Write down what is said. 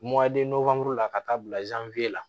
la ka taa bila la